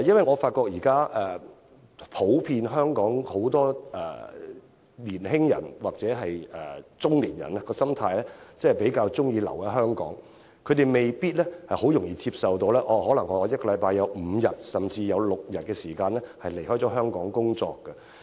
我發現香港年輕人或中年人的普遍心態是比較喜歡留在香港，他們未必容易接受一周五天甚至六天離港工作。